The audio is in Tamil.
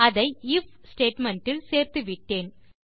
அதை ஐஎஃப் ஸ்டேட்மெண்ட் இல் சேர்த்துவிட்டேன்